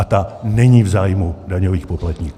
A ta není v zájmu daňových poplatníků.